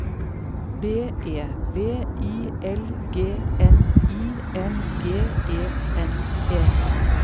B E V I L G N I N G E N E